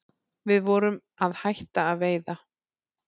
Við vorum að hætta að veiða